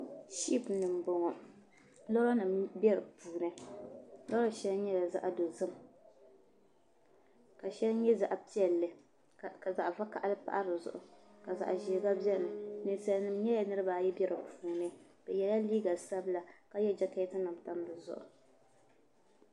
sh-ipu ni m-bɔŋɔ loorinima be di puuni loori shɛli nyɛla za-ɤ'dozim ka shɛli nyɛ za-ɤ'piɛlli ka za-ɤ'vakahili pahi di zuɤu ka za-ɤ'ʒee gba bɛni ninsalinima nyɛla niriba ayi m-be di puuni bɛ yɛla liiga sabila ka ye jekeetinima m-pa di zuɤu